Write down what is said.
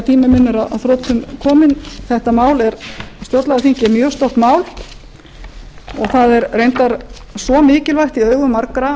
minn er að þrotum kominn þetta mál stjórnlagaþing er mjög stórt mál og það er reyndar svo mikilvægt í augum margra